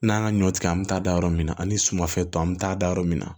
N'an ka ɲɔ tigɛ an mi taa da yɔrɔ min na ani sumafɛn tɔ an be taa da yɔrɔ min na